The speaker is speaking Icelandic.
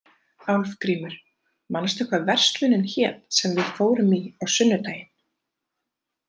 Álfgrímur, manstu hvað verslunin hét sem við fórum í á sunnudaginn?